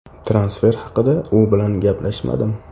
Transfer haqida u bilan gaplashmadim.